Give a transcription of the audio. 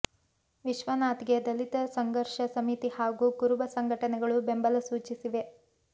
ವಿಶ್ವನಾಥ್ಗೆ ದಲಿತ ಸಂಘರ್ಷ ಸಮಿತಿ ಹಾಗೂ ಕುರುಬ ಸಂಘಟನೆಗಳು ಬೆಂಬಲ ಸೂಚಿಸಿವೆ